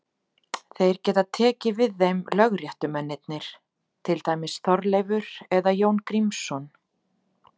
Þeir geta tekið við þeim lögréttumennirnir, til dæmis Þorleifur eða Jón Grímsson.